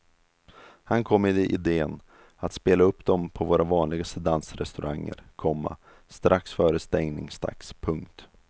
Han kom med iden att spela upp dem på våra vanligaste dansrestauranger, komma strax före stängningsdags. punkt